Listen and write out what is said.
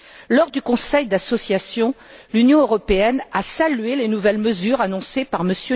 Lors du conseil d'association, l'Union européenne a salué les nouvelles mesures annoncées par M.